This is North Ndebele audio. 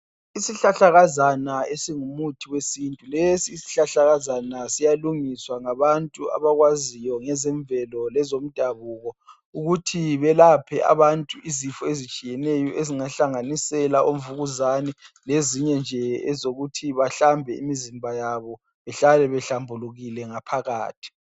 Isihlahlakazana esingumuthi wesintu lesi isihlahlakazana siyalungiswa ngabantu abakwaziyo ngezemvelo lezomdabuko ukuthi belaphe abantu izifo ezitshiyeneyo ezingahlanganisela uvukuzane, lezinye nje ezokuthi bahlambe imizimba yabo, bahlale behlambulukile ngaphakathi.